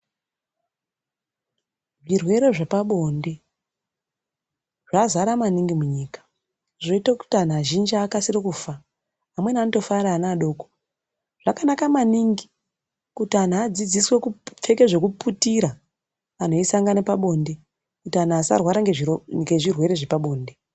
Zvirwere zvepabonde zvazara maningi munyika zvoita kuti anhu azhinji akasire kufa amweni anotofa ari ana adoko zvakanaka maningi kuti anhu adzidziswe kupfeka zvekuputira anhu eisangana pabonde kuti anhu asarwara nezvirwere zvepabonde.